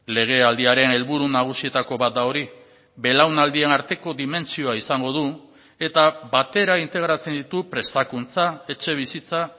legealdiaren helburu nagusietako bat da hori belaunaldien arteko dimentsioa izango du eta batera integratzen ditu prestakuntza etxebizitza